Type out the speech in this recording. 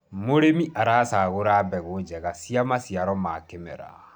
mũrĩmi acaguraga mbegũ njega cia maciaro ma kĩmera